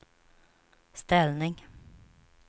ställning